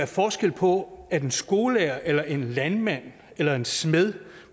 forskel på at en skolelærer eller en landmand eller en smed